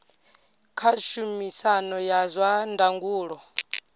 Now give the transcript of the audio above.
kha tshumisano ya zwa ndangulo